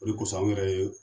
O de kɔsɔn anw yɛrɛ ye